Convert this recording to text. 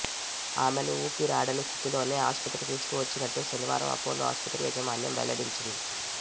ఆమెను ఊపిరాడని స్థితిలోనే ఆస్పత్రికి తీసుకువచ్చినట్టు శనివారం అపోలో ఆస్పత్రి యాజమాన్యం వెల్లడించింది